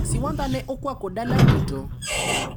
Siwandha ne okwako dala duto.